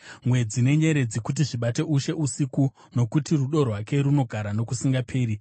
mwedzi nenyeredzi kuti zvibate ushe usiku; Nokuti rudo rwake runogara nokusingaperi.